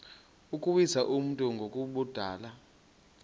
ukuwisa umntu ngokumbulala